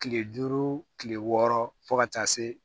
Kile duuru kile wɔɔrɔ fo ka taa se